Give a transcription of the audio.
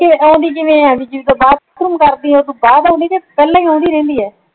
ਆਉਂਦੀ ਕਿਵੇ ਆ ਭਾਈ ਜਦੋਂ ਬਾਥਰੂਮ ਕਰਦੀ ਆ ਓਦੇ ਤੋਂ ਬਾਅਦ ਓਨਦੀ ਆ ਯਾ ਪਹਿਲਾਂ ਹੀ ਆਉਂਦੀ ਰਿਹੰਦੀ ਆ?